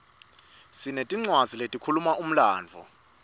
sinetincwadzi letikhuluma umlandvo